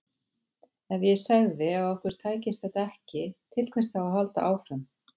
Ef ég segði að okkur tækist þetta ekki, til hvers þá að halda áfram?